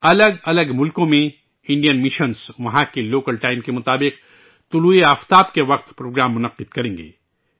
الگ الگ ملکوں میں انڈین مشنز وہاں کے لوکل ٹائم کے مطابق طلوع آفتاب کے وقت یوگ پروگرام منعقد کریں گے